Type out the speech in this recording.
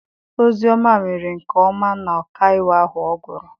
Ozioma mere nke ọma na ọkaiwu ahụ ọ gụrụ.